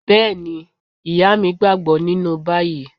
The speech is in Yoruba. Bẹ́ẹ̀ni, Ìyá mi gbàgbọ́ nínú báyìí